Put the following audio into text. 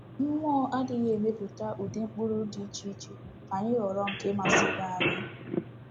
Mmụọ adịghị emepụta ụdị mkpụrụ dị iche iche ka anyị họrọ nke masịrị anyị.